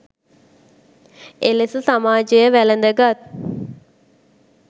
එලෙස සමාජය වැළඳගත්